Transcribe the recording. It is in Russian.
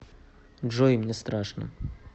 джой мне страшно